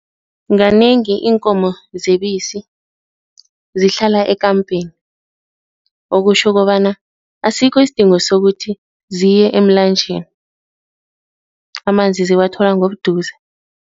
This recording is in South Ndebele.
Kanengi iinkomo zebisi zihlala ekampeni, okutjho kobana asikho isidingo sokuthi ziye emlanjeni, amanzi ziwathola ngobuduze.